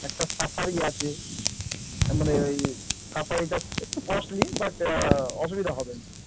একটা safari আছে মানে ওই safari এটা একটু costly but অসুবিধা হবে না ।